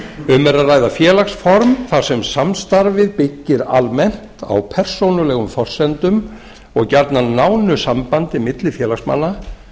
um er að ræða félagsform þar sem samstarfið byggir almennt á persónulegum forsendum og gjarnan nánu sambandi milli félagsmanna